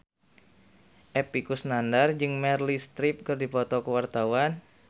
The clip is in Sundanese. Epy Kusnandar jeung Meryl Streep keur dipoto ku wartawan